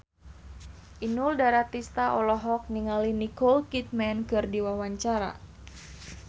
Inul Daratista olohok ningali Nicole Kidman keur diwawancara